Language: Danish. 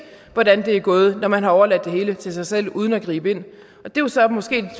hvordan det er gået når man har overladt det hele til sig selv uden at gribe ind det er så måske